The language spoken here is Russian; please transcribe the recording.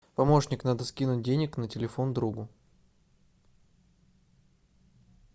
помощник надо скинуть денег на телефон другу